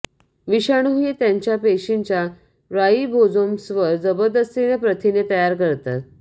विषाणू हे त्यांच्या पेशींच्या राइबोझोम्सवर जबरदस्तीने प्रथिने तयार करतात